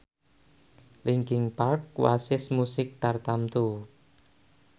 linkin park wasis musik tartamtu